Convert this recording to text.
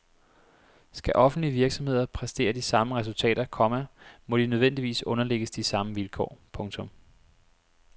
Skal offentlige virksomheder præstere de samme resultater, komma må de nødvendigvis underlægges de samme vilkår. punktum